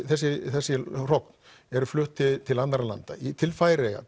þessi þessi hrogn eru flutt til annarra landa til Færeyja